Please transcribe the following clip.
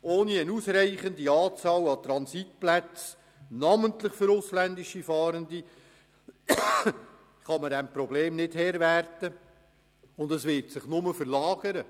Ohne eine ausreichende Anzahl an Transitplätzen, namentlich für ausländische Fahrende, kann man dieses Problems nicht Herr werden, und es wird sich nur verlagern.